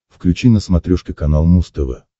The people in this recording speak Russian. включи на смотрешке канал муз тв